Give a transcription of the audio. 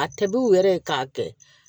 A tɛ b'u yɛrɛ ye k'a kɛ